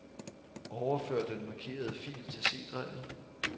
Overfør den markerede fil til C-drevet.